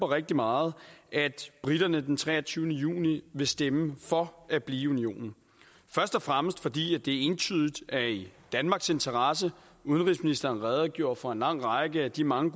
rigtig meget at briterne den treogtyvende juni vil stemme for at blive i unionen først og fremmest fordi det entydigt er i danmarks interesse udenrigsministeren redegjorde for en lang række af de mange